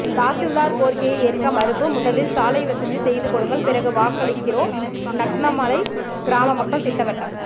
தாசில்தார் கோரிக்கையை ஏற்க மறுப்பு முதலில் சாலை வசதி செய்து கொடுங்கள் பிறகு வாக்களிக்கிறோம் நக்கனாமலை கிராமமக்கள் திட்டவட்டம்